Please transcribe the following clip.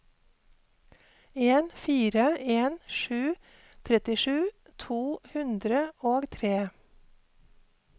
en fire en sju trettisju to hundre og tre